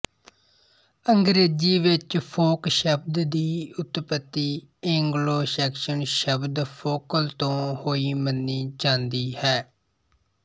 ਅੰਗਰੇਜ਼ੀ ਵਿੱਚ ਫੋਕ ਸ਼ਬਦ ਦੀ ਉਤਪੱਤੀ ਏਂਗਲੋ ਸੈਕਸ਼ਨ ਸ਼ਬਦ ਫੋਲਕ ਤੋਂ ਹੋਈ ਮੰਨੀ ਜ਼ਾਂਦੀ ਹੈ